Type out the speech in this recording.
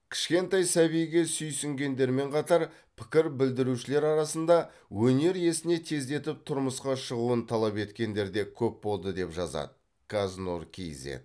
кішкентай сәбиге сүйсінгендермен қатар пікір білдірушілер арасында өнер иесіне тездетіп тұрмысқа шығуын талап еткендер де көп болды деп жазады каз нұр кизед